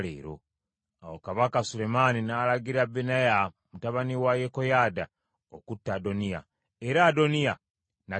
Awo Kabaka Sulemaani n’alagira Benaya mutabani wa Yekoyaada okutta Adoniya, era Adoniya n’attibwa.